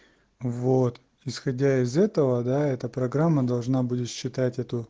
вот исходя из этого да эта программа должна будешь читать эту